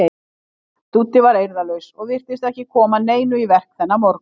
Dúddi var eirðarlaus og virtist ekki koma neinu í verk þennan morgun.